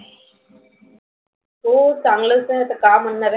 हो चागलच आहे आता काय म्हणनार आहे?